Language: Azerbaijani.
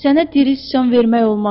Sənə diri sıçan vermək olmaz.